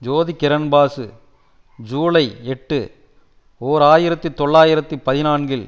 ஜோதி Kiran Basu July எட்டு ஓர் ஆயிரத்தி தொள்ளாயிரத்தி பதினான்கில்